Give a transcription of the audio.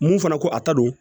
Mun fana ko a ta don